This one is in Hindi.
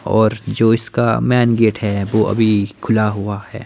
और जो इसका मेन गेट है वो अभी खुला हुआ है।